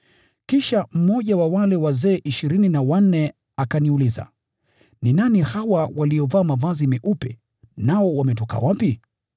Kisha mmoja wa wale wazee ishirini na wanne akaniuliza, “Ni nani hawa waliovaa mavazi meupe, nao wametoka wapi?”